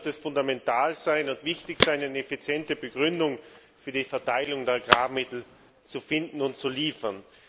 Es wird fundamental und wichtig sein, eine effiziente Begründung für die Verteilung der Agrarmittel zu finden und zu liefern.